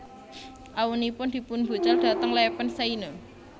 Awunipun dipunbucal dhateng lèpèn Seine